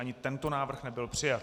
Ani tento návrh nebyl přijat.